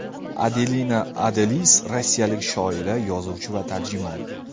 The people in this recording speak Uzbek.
Adelina Adalis rossiyalik shoira, yozuvchi va tarjimon.